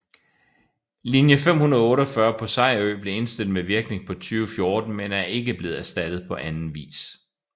Linje 548 på Sejerø blev indstillet med virkning fra 2014 men er ikke blevet erstattet på anden vis